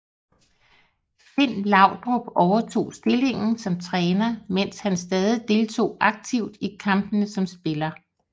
Finn Laudrup overtog stillingen som træner mens han stadig deltog aktivt i kampene som spiller